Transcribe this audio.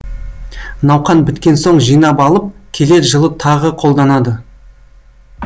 науқан біткен соң жинап алып келер жылы тағы қолданады